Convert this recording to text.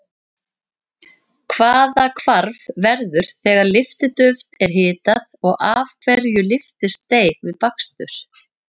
Hvaða hvarf verður þegar lyftiduft er hitað og af hverju lyftist deig við bakstur?